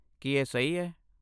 ਕੀ ਇਹ ਸਹੀ ਹੈ?